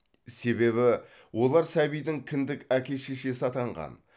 себебі олар сәбидің кіндік әке шешесі атанған